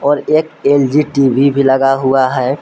और एक LG TV भी लगा हुआ है।